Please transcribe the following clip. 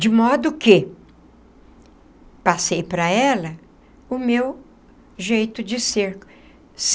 De modo que passei para ela o meu jeito de ser.